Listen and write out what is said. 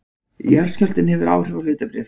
Jarðskjálftinn hefur áhrif á hlutabréf